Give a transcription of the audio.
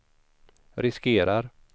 riskerar